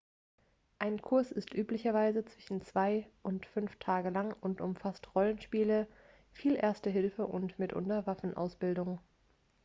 ein kurs ist üblicherweise zwischen 2 und 5 tage lang und umfasst rollenspiele viel erste hilfe und mitunter waffenausbildung